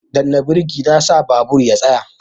Danna birki na sa babur ya tsaya